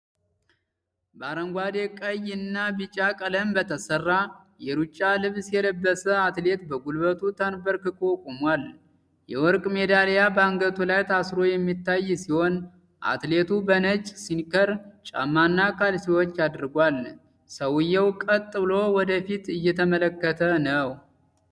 በአረንጓዴ፣ ቀይ እና ቢጫ ቀለም በተሠራ የሩጫ ልብስ የለበሰ አትሌት በጉልበቱ ተንበርክኮ ቆሟል። የወርቅ ሜዳሊያ በአንገቱ ላይ ታስሮ የሚታይ ሲሆን፣ አትሌቱ በነጭ ስኒከር ጫማና ካልሲዎች አድርጓል። ሰውየው ቀጥ ብሎ ወደ ፊት እየተመለከተ ነው።